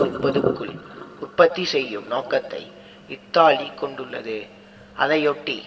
முப்பதுக்குள் உற்பத்தி செய்யும் நோக்கத்தை இத்தாலி கொண்டுள்ளது அதையொட்டி